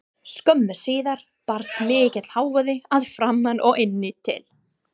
Skömmu síðar barst mikill hávaði að framan og inn til